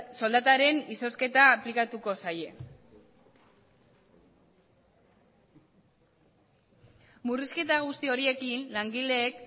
soldataren izozketa aplikatuko zaie murrizketa guzti horiekin langileek